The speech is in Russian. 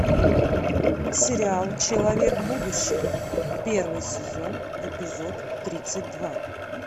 сериал человек будущего первый сезон эпизод тридцать два